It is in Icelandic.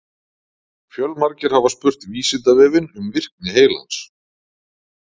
Fjölmargir hafa spurt Vísindavefinn um virkni heilans.